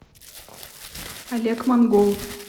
олег монгол